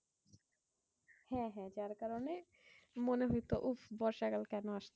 হ্যাঁ হ্যাঁ যার কারণে মনে হতো উফ বর্ষা কাল কেন আসছে?